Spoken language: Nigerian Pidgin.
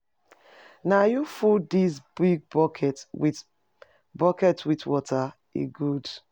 Na you full dis big bucket with bucket with water, e good.